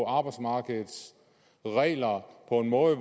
arbejdsmarkedets regler på en måde